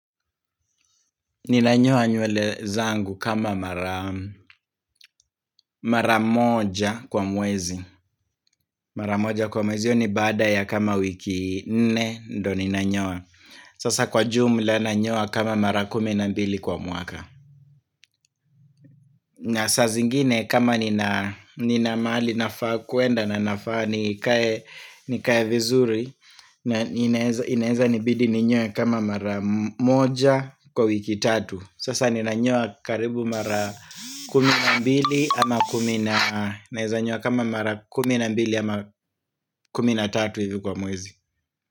Ninanyoa nywele zangu kama mara moja kwa mwezi. Mara moja kwa mwezi hiyo ni baada ya kama wiki nne ndo ninanyoa. Sasa kwa jumla nanyoa kama mara kumi na mbili kwa mwaka. Na saa zingine kama nina mahali nafaa kwenda na nafaa nikae vizuri na inaweza nibidi ninyoe kama mara moja kwa wiki tatu Sasa nina nyoa karibu mara kumi na mbili ama kumi na Naweza nyoa kama mara kumi na mbili ama kumina tatu hivi kwa mwezi.